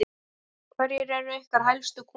Hverjir eru ykkar helstu kúnnar?